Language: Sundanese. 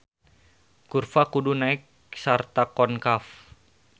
Kurva kudu naek sarta konkav.